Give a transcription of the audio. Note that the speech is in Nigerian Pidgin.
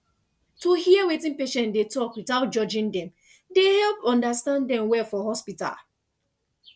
to hear wetin patient dey talk without judging dem dey help understand dem well for hospital